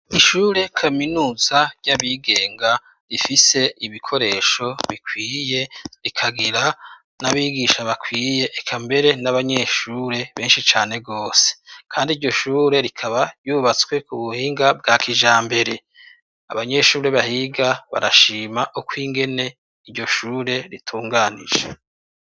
ishure kaminuza ry'abigenga rifise ibikoresho bikwiye rikagira n'abigisha bakwiye ekambere n'abanyeshure benshi cane gose kandi iryoshure rikaba yubatswe ku buhinga bwa kijambere abanyeshure bahiga barashima ukw'ingene iryo shure ritunganije